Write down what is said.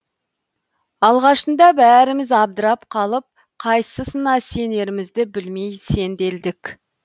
алғашынды бәріміз абдырап қалып қайсысына сенерімізді білмей сенделдік